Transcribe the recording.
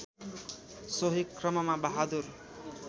सोही क्रममा बहादुर